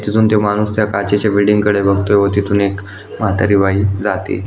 तिथून तो माणूस त्या काचेच्या बिल्डिंग कडे बघतोय व तिथून एक म्हातारी बाई जातीये.